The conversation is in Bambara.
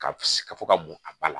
Ka fɔ ka bɔn a ba la